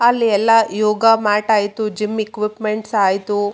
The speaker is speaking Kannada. ಅಲ್ಲಿ ಎಲ ಯೋಗ ಮ್ಯಾಟ್ ಆಯಿತು ಜಿಮ್ಮ್ ಇಕ್ಯುಪ್ಮೆಂಟ್ ಆಯ್ತು.